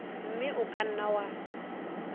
mme o ka nna wa